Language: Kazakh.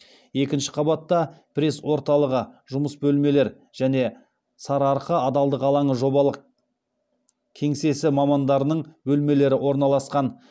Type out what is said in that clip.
екінші қабатта пресс орталығы жұмыс бөлмелер және сарыарқа адалдық алаңы жобалық кеңсесі мамандарының бөлмелері орналасқан